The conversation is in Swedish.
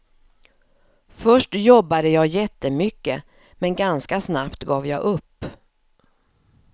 Först jobbade jag jättemycket, men ganska snabbt gav jag upp.